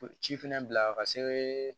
ci fana bila ka se